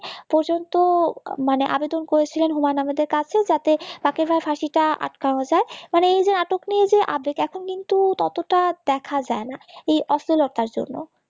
পর্যন্ত মানে আবেদন করেছিলেন হুমায়ুন আহমেদের কাছে যাতে তাকে না ফাঁসিটা আটকানো যায় মানে এই যে নাটক নিয়ে যে update এখন কিন্তু ততটা দেখা যায় না এই অশ্লীলতার জন্য